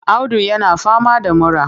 Audu yana fama da mura.